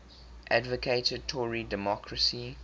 advocated tory democracy